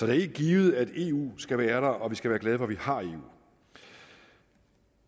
er helt givet at eu skal være der og vi skal være glade for at vi har eu